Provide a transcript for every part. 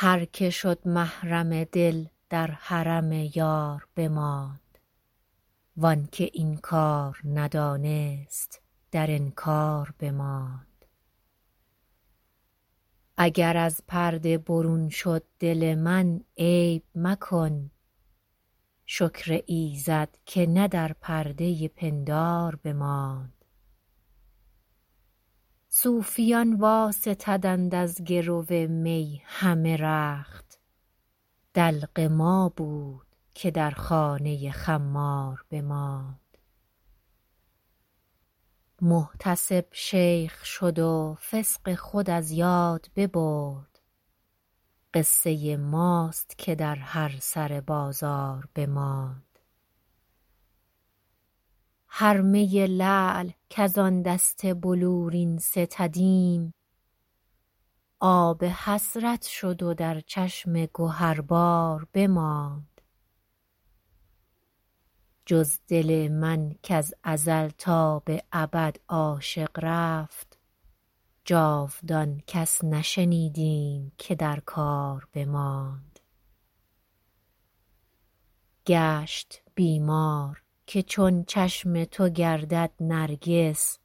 هر که شد محرم دل در حرم یار بماند وان که این کار ندانست در انکار بماند اگر از پرده برون شد دل من عیب مکن شکر ایزد که نه در پرده پندار بماند صوفیان واستدند از گرو می همه رخت دلق ما بود که در خانه خمار بماند محتسب شیخ شد و فسق خود از یاد ببرد قصه ماست که در هر سر بازار بماند هر می لعل کز آن دست بلورین ستدیم آب حسرت شد و در چشم گهربار بماند جز دل من کز ازل تا به ابد عاشق رفت جاودان کس نشنیدیم که در کار بماند گشت بیمار که چون چشم تو گردد نرگس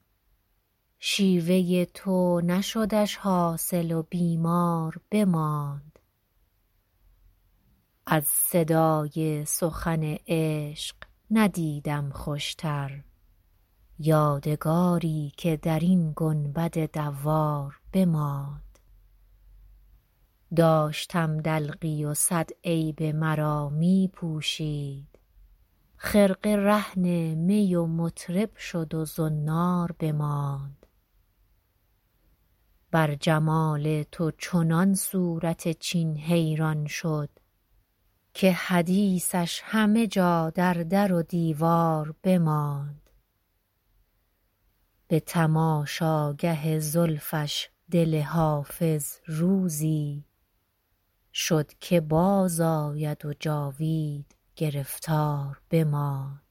شیوه تو نشدش حاصل و بیمار بماند از صدای سخن عشق ندیدم خوشتر یادگاری که در این گنبد دوار بماند داشتم دلقی و صد عیب مرا می پوشید خرقه رهن می و مطرب شد و زنار بماند بر جمال تو چنان صورت چین حیران شد که حدیثش همه جا در در و دیوار بماند به تماشاگه زلفش دل حافظ روزی شد که بازآید و جاوید گرفتار بماند